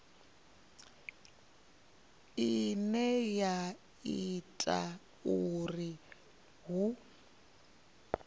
ine ya ita uri hu